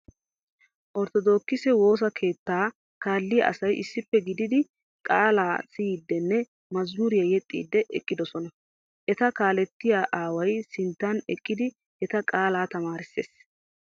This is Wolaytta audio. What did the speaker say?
Orttodookise woosa keettaa kaalliya asay issippe gididi qaalaa siyiiddinne mazamuriya yexxiiddi eqqidosona. Eta kaalettiya aaway sinttan eqqidi eta qaalaa tamaarissees.